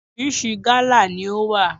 Orísìírísìí gálà ni ó wà.